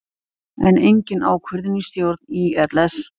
Enn engin ákvörðun í stjórn ÍLS